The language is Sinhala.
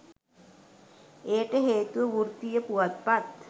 එයට හේතුව වෘත්තීය පුවත්පත්